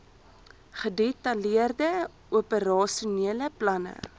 gedetailleerde operasionele planne